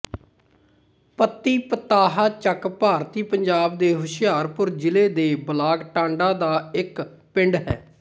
ਪੱਤੀ ਪਤਾਹਾ ਚੱਕ ਭਾਰਤੀ ਪੰਜਾਬ ਦੇ ਹੁਸ਼ਿਆਰਪੁਰ ਜ਼ਿਲ੍ਹੇ ਦੇ ਬਲਾਕ ਟਾਂਡਾ ਦਾ ਇੱਕ ਪਿੰਡ ਹੈ